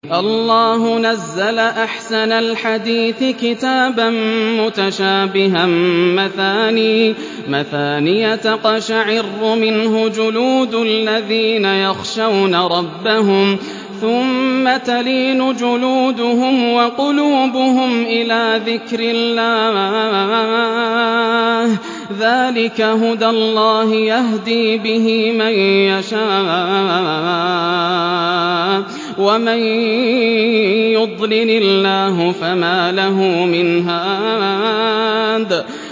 اللَّهُ نَزَّلَ أَحْسَنَ الْحَدِيثِ كِتَابًا مُّتَشَابِهًا مَّثَانِيَ تَقْشَعِرُّ مِنْهُ جُلُودُ الَّذِينَ يَخْشَوْنَ رَبَّهُمْ ثُمَّ تَلِينُ جُلُودُهُمْ وَقُلُوبُهُمْ إِلَىٰ ذِكْرِ اللَّهِ ۚ ذَٰلِكَ هُدَى اللَّهِ يَهْدِي بِهِ مَن يَشَاءُ ۚ وَمَن يُضْلِلِ اللَّهُ فَمَا لَهُ مِنْ هَادٍ